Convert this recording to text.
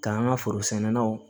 K'an ka forosɛnnaw